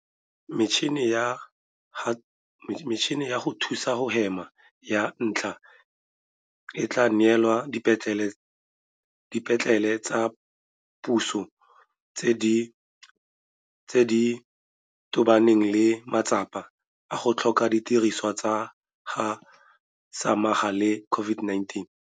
Metšhini ya go thusa go hema ya ntlha e tla neelwa dipetlele tsa puso tse di tobaneng le matsapa a go tlhoka didirisiwa tsa go samagana le COVID-19.